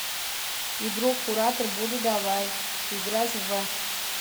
игру куратор буду давай играть в